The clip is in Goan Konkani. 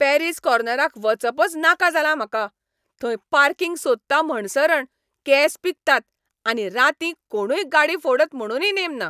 पॅरीज कॉर्नराक वचपच नाका जालां म्हाका. थंय पार्किंग सोदता म्हणसरण केस पिकतात आनी रातीं कोणूय गाडी फोडत म्हणुनूय नेम ना.